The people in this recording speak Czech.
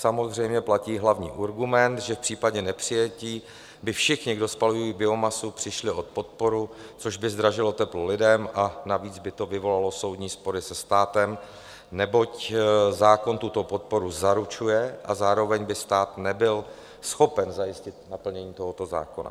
Samozřejmě platí hlavní argument, že v případě nepřijetí by všichni, kdo spalují biomasu, přišli o podporu, což by zdražilo teplo lidem a navíc by to vyvolalo soudní spory se státem, neboť zákon tuto podporu zaručuje a zároveň by stát nebyl schopen zajistit naplnění tohoto zákona.